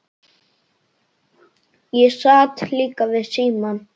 Ég sat líka við símann.